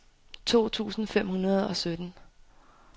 to tusind fem hundrede og sytten